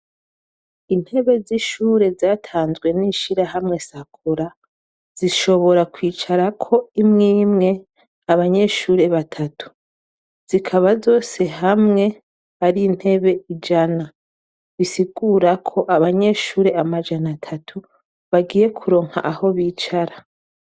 Intebe z'ishure zatanzwe n'ishirahamwe Sakura, zishobora kwicarako imwe imwe abanyeshure batatu. Zikaba zose hamwe ari intebe ijana, bisigura ko abanyeshure amajana atatu bagiye kuronka aho bicara.